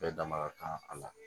Bɛɛ dama ka kan a la